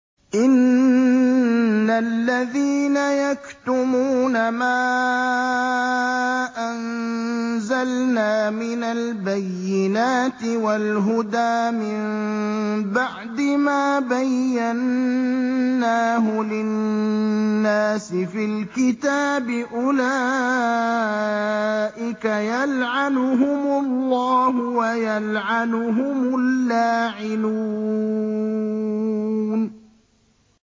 إِنَّ الَّذِينَ يَكْتُمُونَ مَا أَنزَلْنَا مِنَ الْبَيِّنَاتِ وَالْهُدَىٰ مِن بَعْدِ مَا بَيَّنَّاهُ لِلنَّاسِ فِي الْكِتَابِ ۙ أُولَٰئِكَ يَلْعَنُهُمُ اللَّهُ وَيَلْعَنُهُمُ اللَّاعِنُونَ